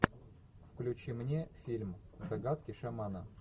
включи мне фильм загадки шамана